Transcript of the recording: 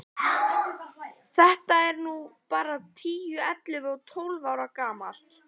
Þetta er nú bara tíu, ellefu og tólf ára gamalt.